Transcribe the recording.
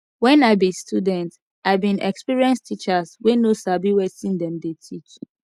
wen i be student i bin experience teachers wey no sabi wetin dem dey teach